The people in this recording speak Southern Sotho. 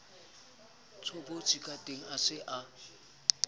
tshobotsi kateng a se a